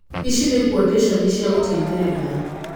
ĩci nĩ kuũtĩconi cia gũteithĩrĩria.